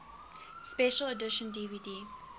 special edition dvd